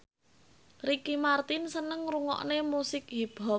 Ricky Martin seneng ngrungokne musik hip hop